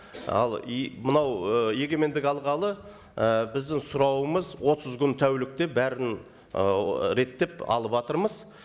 ал и мынау ы егемендік алғалы і біздің сұрауымыз отыз күн тәулікте бәрін ы реттеп алыватырмыз